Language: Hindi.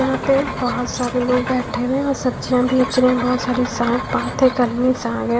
यहां पे बहोत सारे लोग बैठे हुए हैं और सब्जियां बेच रहे हैं बहुत सारी साग है।